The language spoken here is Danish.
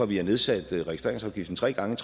vi har nedsat registreringsafgiften tre gange